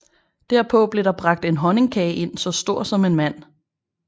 Derpå blev der bragt en honningkage ind så stor som en mand